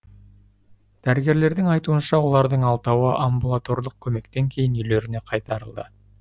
дәрігерлердің айтуынша олардың алтауы амбулаторлық көмектен кейін үйлеріне қайтарылды